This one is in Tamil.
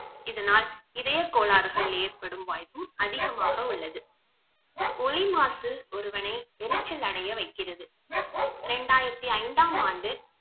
இதனால் இதய கோளாறுகள் ஏற்படும் வாய்ப்பும் அதிகமாக உள்ளது ஒலி மாசு ஒருவனை எரிச்சலடைய வைக்கிறது இரண்டாயிரத்தி ஐந்தாம் ஆண்டு